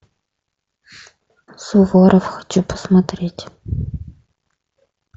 суворов хочу посмотреть